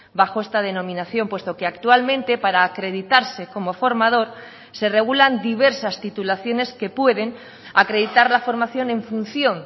bajo esta denominación puesto que actualmente para acreditarse como formador se regulan diversas titulaciones que pueden acreditar la formación en función